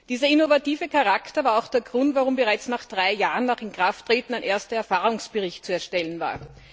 Dieser innovative Charakter war auch der Grund, warum bereits drei Jahre nach Inkrafttreten ein erster Erfahrungsbericht zu erstellen war.